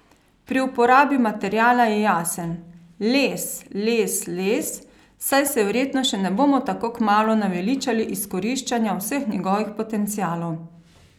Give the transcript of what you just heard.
Pri uporabi materiala je jasen: 'Les, les, les, saj se verjetno še ne bomo tako kmalu naveličali izkoriščanja vseh njegovih potencialov.